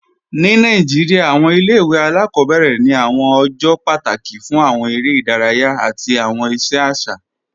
Ni Nàìjíríà, awọn ilẹ̀-ìwé aláàkọbẹ̀rẹ ni awọn ọjọ́ pátákì fún awọn èrè idáràyà àti awọn iṣẹ aṣa.